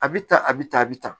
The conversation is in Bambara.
A bɛ ta a bɛ ta a bɛ ta